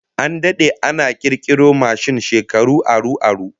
An dade da kirkiro mashin, shekaru aru aru